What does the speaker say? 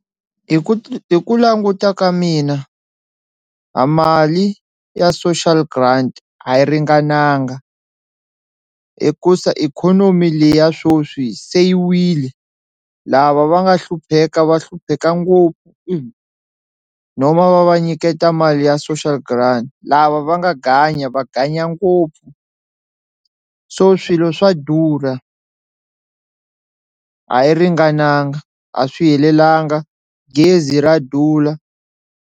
Hi ku hi ku languta ka mina a mali ya social grant a yi ringananga hikusa ikhonomi le ya swoswi se yiwile lava va nga hlupheka va hlupheka ngopfu no va va va nyiketa mali ya social grant, lava va nga ganya va ganya ngopfu so swilo swa durha a yi ringananga a swi helelanga gezi ra durha.